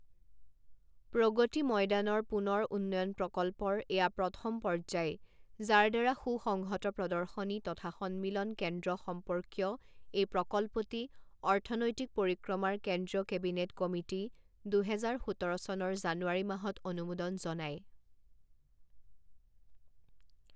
প্ৰগতি ময়দানৰ পুনৰ উন্নয়ন প্ৰকল্পৰ এয়া প্ৰথম পৰ্যায় যাৰদ্বাৰা সু সংহত প্ৰৰ্দশনী তথা সন্মিলন কেন্দ্ৰ সম্পৰ্কীয় এই প্ৰকল্পটি অৰ্থনৈতিক পৰিক্ৰমাৰ কেন্দ্ৰীয় কেবিনেট কমিটী দুহেজাৰ সোতৰ চনৰ জানুৱাৰী মাহত অনুমোদন জনায়।